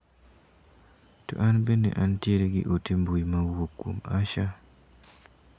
To an bende an tiere gi ote mbui ma owuok kuom Asha?